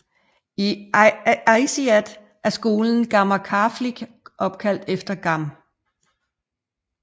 I Aasiaat er skolen Gammeqarfik opkaldt efter Gam